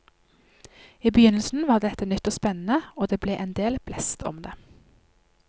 I begynnelsen var dette nytt og spennende, og det ble en del blest om det.